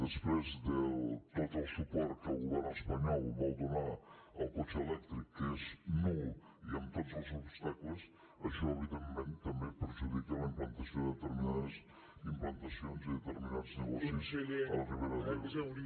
després de tot el suport que el govern espanyol vol donar al cotxe elèctric que és nul i amb tots els obstacles això evidentment també perjudica la implantació de determinades implantacions i determinats negocis a la ribera d’ebre